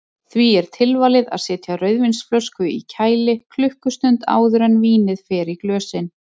Því er tilvalið að setja rauðvínsflösku í kæli klukkustund áður en vínið fer í glösin.